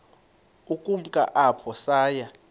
ukumka apho saya